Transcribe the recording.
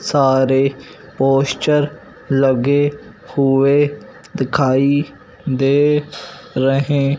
सारे पोस्टर लगे हुए दिखाई दे रहे--